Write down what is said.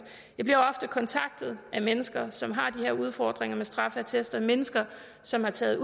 jeg bliver ofte kontaktet af mennesker som har de her udfordringer med straffeattester mennesker som har taget